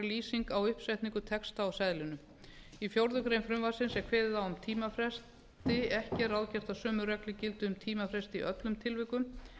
lýsing á uppsetningu texta á seðlinum í fjórða grein frumvarpsins er kveðið á um tímafresti ekki er ráðgert að sömu reglur gildi um tímafresti í öllum tilvikum